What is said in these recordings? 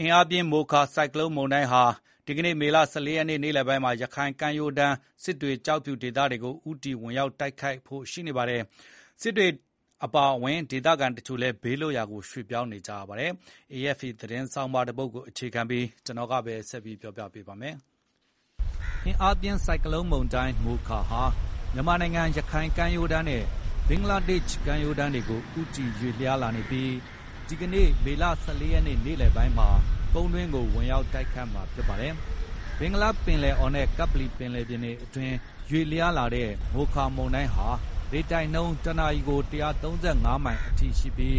အင်အားပြင်းဆိုင်ကလုန်း မိုခါမုန်တိုင်းဟာ ဒီကနေ့ မေလ ၁၄ ရက်နေ့ နေ့လယ်ပိုင်းမှာ ရခိုင်ကမ်းရိုးတန်းက စစ်တွေ၊ ကျောက်ဖြူဒေသတွေဆီ ဦးတည်ဝင်ရောက်ဖို့ရှိနေပါတယ်။ စစ်တွေအပါအဝင် ဒေသခံ တချို့လည်း ဘေးလွတ်ရာကိုရွှေ့ပြောင်းနေကြပါတယ်။ AFP သတင်းဆောင်းပါးကိုအခြေခံပြီး -ကိုဇော်မိုး ကျော်က တင်ပြပေးထားပါတယ်။ အင်အားပြင်းဆိုင်ကလုန်းမုန်တိုင်းမိုခါဟာ မြန်မာနိုင်ငံ ရခိုင်ကမ်းရိုးတန်းနဲ့ ဘင်္ဂလားဒေ့ရှ်ကမ်းရိုးတန်းကို ဦးတည်ရွေ့လျားနေပြီး ဒီကနေ့ မေလ ၁၄ ရက်နေ့လယ်ပိုင်းမှာ ကုန်းတွင်းကိုဝင်ရောက်တိုက်ခတ်မှာဖြစ်ပါတယ်။ ဘင်္ဂလားပင်လယ်အော်နဲ့ကပ္ပလီပင်လယ်ပြင်အတွင်း ရွေ့လျားလာတဲ့ မိုခါမုန်တိုင်းဟာ လေတိုက်နှုန်း တနာရီကို ၁၃၅ မိုင်အထိရှိပြီး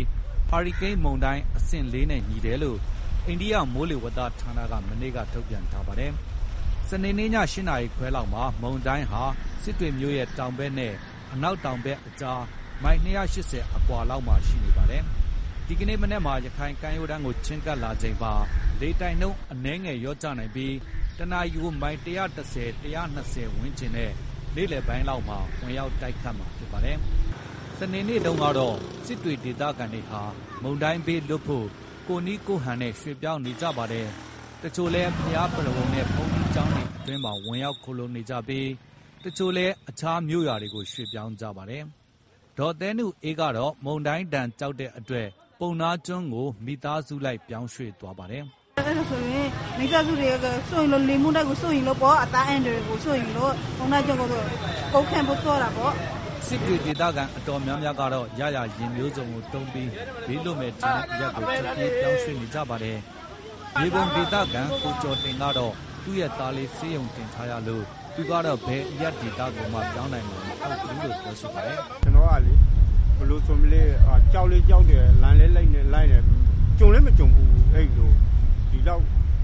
ဟာရီကိန်းမုန်တိုင်းအဆင့် ၄ နဲ့ညီတယ်လို့ အိန္ဒိယမိုးလေဝသဌာနက မနေ့ကထုတ်ပြန်ထားပါတယ်။ စနေနေ့ည ၈ နာရီခွဲလောက်မှာ မုန်တိုင်းဟာ စစ်တွေမြို့ရဲ့ တောင်ဘက်နဲ့ အနောက်တောင်ဘက်ကြား မိုင်၂၈၀ အကွာမှာရောက်နေပါတယ်။ ဒီကနေ့ မနက်မှာ ရခိုင်ကမ်းရိုးတမ်းကိုချဉ်းကပ်လာချိန်မှာလေ တိုက်နှုန်းအနည်းငယ်လျော့ကျနိုင်ပြီး တနာရီကို မိုင် ၁၁၀-၁၂၀ ဝန်းကျင်နဲ့ နေ့လယ်ပိုင်းလောက်မှာ ဝင်ရောက်တိုက်ခတ်မှာဖြစ်ပါတယ်။ စနေနေ့တုန်းကတော့ စစ်တွေဒေသခံတွေဟာ မုန်တိုင်းဘေးကလွတ်ဖို့ ကိုယ်နည်းကိုယ့်ဟန်နဲ့ ရွှေ့ပြောင်းနေကြပါတယ်။ တချို့လည်း ဘုရားပုရဝဏ်နဲ့ ဘုန်းကြီးကျောင်းတွေမှာ ဝင်ရောက်ခိုလှုံနေကြပြီး၊ အချို့လည်းအခြားမြို့ရွာတွေကိုပြောင်းရွှေ့နေကြပါတယ်။ ဒေါ်သဲနုအေးကတော့ မုန်တိုင်းဒဏ်ကြောက်တဲ့အတွက် ပုဏ္ဏားကျွန်းကိုမိသားစုလိုက်ပြောင်းရွှေ့သွားပါတယ်။ '"ဘာလို့လဲဆိုရင် မိသားစုတွေအကုန် လေမုန်တိုင်းကို စိုးရိမ်လို့ပေါ့၊ ကုန်းဘက်ကိုသွားတာပေါ့။" စစ်တွေဒေသခံအတော်များများကတော့ ရရာယဉ်မျိုးစုံကိုသုံးပြီး ဘေးလွတ်မယ်ထင်တဲ့အရပ်ကို ထွက်ပြေးပြောင်းရွှေ့နေကြပါတယ်။ မြေပုံဒေသခံ ကိုကျော်တင်ကတော့ သူ့ရဲ့သားလေးဆေးရုံတင်ထားရလို့ သူကတော့ဘယ်အရပ်ကိုမှရွှေ့ပြောင်းနိုင်မှာမဟုတ်ဘူးလို့ပြောပါတယ်။ "ကျနော်ကလေ၊ ဘယ်လိုဆိုမလဲ။ ကြောက်လည်းကြောက်တယ်၊ လန့်လည်းလန့်တယ်၊ ကြုံလည်းမကြုံဖူးဘူး၊ အဲဒီလို...ဒီလောက်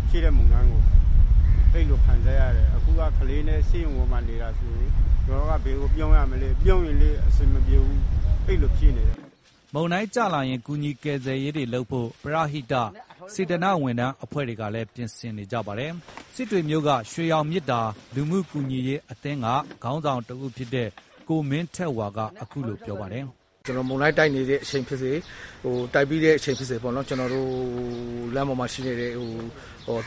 ရှိတဲ့မုန်တိုင်းကို...အဲဒီလိုခံစားရတယ်။ အခုက ကလေးနဲ့ ဆေးရုံပေါ်မှာနေတာဆိုရင် ကျနော်က ဘယ်ကိုပြောင်းရမလဲ။ ပြောင်းရင်လည်း အဆင်မပြေဘူး၊ အဲဒီလိုဖြစ်နေတယ်။" မုန်တိုင်းကျလာရင် ကူညီကယ်ဆယ်ရေးတွေလုပ်ဖို့ ပရဟိတ၊ စေတနာ့ဝန်ထမ်းအဖွဲ့တွေကလည်း ပြင်ဆင်နေပါတယ်။ စစ်တွေမြို့က ရွှေရောင်မေတ္တာ လူမှုကူညီအရေးအသင်း ခေါင်းဆောင်တဦးဖြစ်တဲ့ ကိုမင်းထက်ဝါ က အခုလိုပြောပါတယ်။ "မုန်တိုင်းတိုက်နေတဲ့အချိန်ဖြစ်စေ၊ တိုက်ပြီးတဲ့အချိန်ဖြစ်စေ...လမ်းပေါ်မှာရှိတဲ့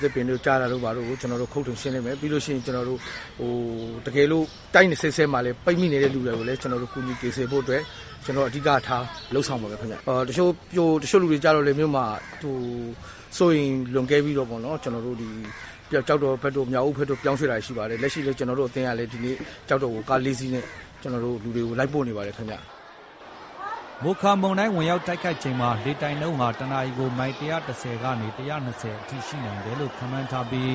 သစ်ပင်တို့၊ ကျတာတို့ ဘာတို့ကို ခုတ်ထွင်ရှင်းလင်းမယ်၊ တကယ်လို့ တိုက်နေဆဲမှာလည်း ပိတ်မိနေတဲ့လူတွေကိုလည်း ကူညီကယ်ဆယ်ဖို့အတွက် ကျနော်တို့အဓိကထား လုပ်ဆောင်ပါမယ်ခင်ဗျ။ တချို့လူတွေကျတော့လည်း စိုးရိမ်လွန်ကဲပြီးတော့ပေါ့နော်...ကျောက်တော်ဘက်တို့၊ မြောက်ဦးဘက်တို့ ပြောင်းရွှေ့တာရှိပါတယ်။ လက်ရှိလည်း ကျနော်တို့အသင်းက ကျောက်တော်ဘက်ကို ကားလေးစီးနဲ့ လူတွေကို လိုက်ပို့နေပါတယ်ခင်ဗျ။" မိုခါမုန်တိုင်းဝင်ရောက်တိုက်ခတ်ချိန်မှာ လေတိုက်နှုန်းတနာရီကို မိုင် ၁၁၀ ကနေ ၁၂၀ အထိရှိနိုင်တယ်လို့ ခန့်မှန်းထားပြီး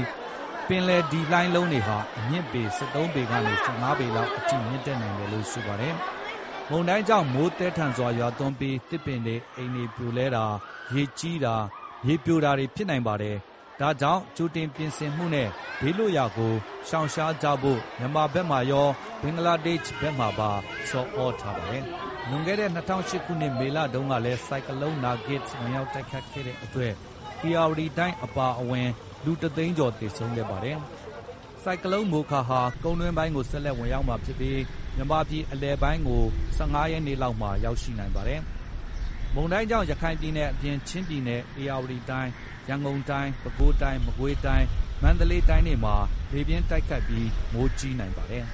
ပင်လယ်ဒီလှိုင်းလုံးတွေဟာ အမြင့်ပေ ၁၃ ပေကနေ ၁၅ ပေလောက်အထိမြင့်တက်နိုင် တယ်လို့ဆိုပါတယ်။ မုန်တိုင်းကြောင့် မိုးသည်းထန်စွာရွာသွန်းပြီး သစ်ပင်တွေ၊ အိမ်တွေပြိုလဲတာ၊ ရေကြီးတာ၊ မြေပြိုတာတွေ ဖြစ်နိုင်ပါတယ်။ ဒါကြောင့် ကြိုတင်ပြင်ဆင်မှုတွေနဲ့ ဘေးလွတ်ရာကိုရှောင်ရှားကြဖို့ မြန်မာဘက်မှာရော၊ ဘင်္ဂလားဒေ့ရှ်ဘက်မှာပါ ဆော်သြထားပါတယ်။ လွန်ခဲ့တဲ့ ၂၀၀၈ ခုနှစ်မေလတုန်းကလည်း ဆိုင်ကလုန်းနာဂစ်ဝင်ရောက်တိုက်ခတ်ခဲ့တဲ့အတွက် ဧရာဝတီတိုင်းအပါအဝင် မုန်တိုင်းသင့်တဲ့အရပ်တွေက လူပေါင်း ၁ သိန်းကျော်သေဆုံးခဲ့ပါတယ်။ ဆိုင်ကလုန်းမိုခါဟာ ကုန်းတွင်းပိုင်းကို ဆက်လက်ဝင်ရောက်မှာဖြစ်ပြီး မြန်မာပြည်အလယ်ပိုင်းကို ၁၅ ရက်နေ့လောက်မှာရောက်ရှိနိုင်ပါတယ်။ မုန်တိုင်းကြောင့် ရခိုင်ပြည်နယ်အပြင် ချင်းပြည်နယ်၊ ဧရာဝတီတိုင်း၊ ရန်ကုန်တိုင်း၊ ပဲခူးတိုင်း၊ မကွေးတိုင်း၊ မန္တလေးတိုင်းတွေမှာလည်း လေပြင်းတိုက်ခတ်ပြီး မိုးကြီးနိုင်ပါတယ်။